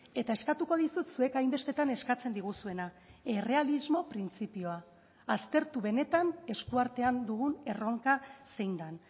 eta eskatuko dizut zuek hainbestetan eskatzen diguzuena errealismo printzipioa aztertu benetan eskuartean dugun erronka zein den